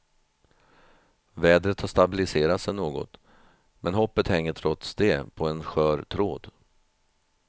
Vädret har stabiliserat sig något, men hoppet hänger trots det på en skör tråd.